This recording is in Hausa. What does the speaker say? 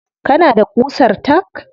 Kana da ƙusar tack?